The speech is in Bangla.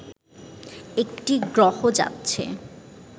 একটি গ্রহ যাচ্ছে